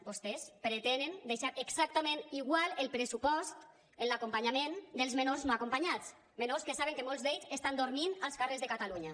vostès pretenen deixar exactament igual el pressupost en l’acompanyament dels menors no acompanyats menors que saben que molts d’ells estan dormint als carrers de catalunya